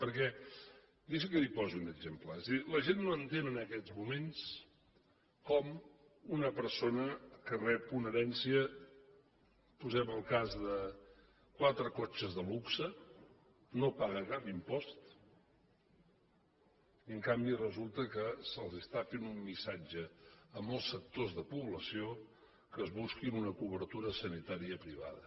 perquè deixi’m que li posi un exemple és a dir la gent no entén en aquests moments com una persona que rep una herència posem el cas de quatre cotxes de luxe no paga cap impost i en canvi resulta que se’ls està fent un missatge a molts sectors de població que es busquin una cobertura sanitària privada